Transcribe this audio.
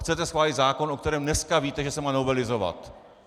Chcete schválit zákon, o kterém dneska víte, že se má novelizovat.